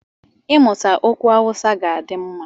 I mụtama okwu Awụsa ga-adị mma.